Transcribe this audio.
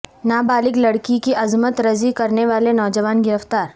نا بالغ لڑکی کی عصمت رزی کرنے والے نوجوان گرفتار